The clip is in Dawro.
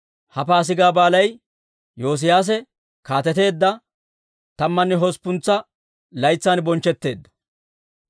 Ha Paasigaa Baalay Yoosiyaase kaateteedda tammanne hosppuntsa laytsan bonchchetteedda.